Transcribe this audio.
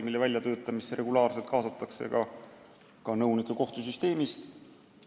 Eelnõude väljatöötamisse kaasatakse regulaarselt ka nõunikke kohtusüsteemist.